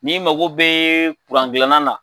N'i mago bɛ kurangilanna la.